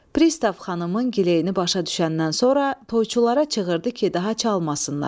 Pristav xanımın gileyini başa düşəndən sonra toyçulara çığırdı ki, daha çalmasınlar.